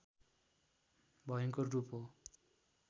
भयंकर रूप हो